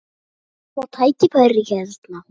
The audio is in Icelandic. Mun ég fá tækifæri hérna?